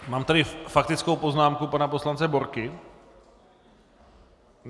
Mám tady faktickou poznámku pana poslance Borky.